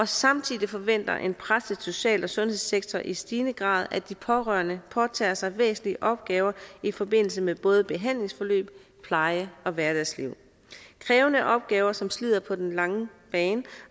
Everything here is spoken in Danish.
samtidig forventer en presset social og sundhedssektor i stigende grad at de pårørende påtager sig væsentlige opgaver i forbindelse med både behandlingsforløb pleje og hverdagsliv krævende opgaver som slider på den lange bane